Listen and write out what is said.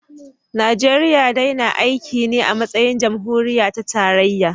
Najeriya dai na aiki ne a matsayin jamhuriya ta tarayya